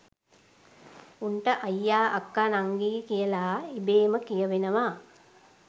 උන්ට අයියා අක්කා නංගි කියලා ඉබේම කියවෙනවා